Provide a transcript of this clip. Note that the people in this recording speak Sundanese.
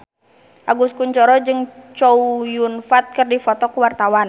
Agus Kuncoro jeung Chow Yun Fat keur dipoto ku wartawan